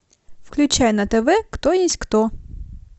включай на тв кто есть кто